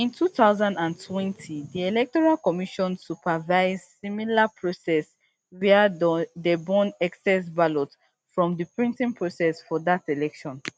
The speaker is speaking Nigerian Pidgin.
in two thousand and twenty di electoral commission supervise similar process wia dey burn excess ballot from di printing process for dat election